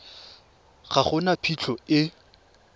ga go na phitlho e